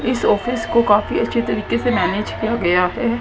इस ऑफिस को काफी अच्छी तरीके से मैनेज किया गया है।